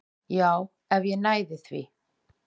Já, ef ég næði þér